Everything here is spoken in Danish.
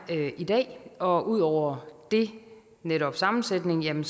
i dag og ud over det netop sammensætningen